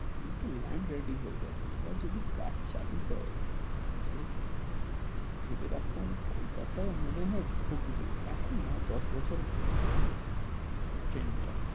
কিন্তু land ready হয়ে গেছে, এবার যদি কাজ চালু হয়, তাহলে ভেবে রাখুন কলকাতায় মনে হয় ধুকে, এখন না দশ বছর পরে, ট্রেন টা,